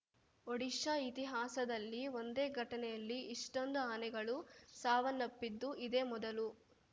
ಒಡಿಶಾ ಇತಿಹಾಸದಲ್ಲಿ ಒಂದೇ ಘಟನೆಯಲ್ಲಿ ಇಷ್ಟೊಂದು ಆನೆಗಳು ಸಾವನ್ನಪ್ಪಿದ್ದು ಇದೇ ಮೊದಲು